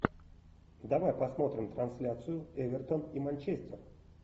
давай посмотрим трансляцию эвертон и манчестер